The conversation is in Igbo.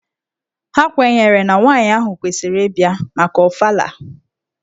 Ha kwenyere na nwaanyị ahụ kwesịrị ịbịa maka Ọfala.